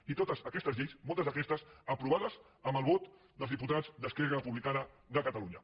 i totes aquestes lleis moltes d’aquestes aprovades amb el vot dels diputats d’esquerra republicana de catalunya